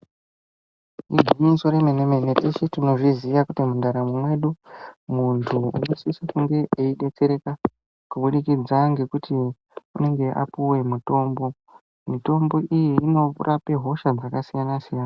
Igwinyiso remene mene teshe tinozviziya kuti mundaramo mwedu munhu unosise kunge yeidetsereka kubudikidza ngekuti anenge eipuwe mitombo. Mitombo iyi inorape hosha dzakasiyana siyana.